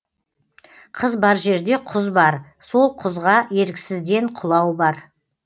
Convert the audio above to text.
қыз бар жерде құз бар сол құзға еріксізден құлау бар